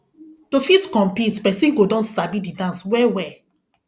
to fit compete person go don sabi di dance well well